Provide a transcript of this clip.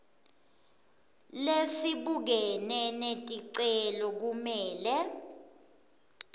lesibukene neticelo kumele